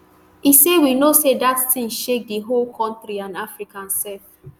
e say we know say dat tin shake di whole kontri and africa sef